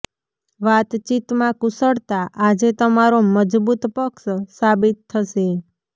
વાતચીત માં કુશળતા આજે તમારો મજબૂત પક્ષ સાબિત થશે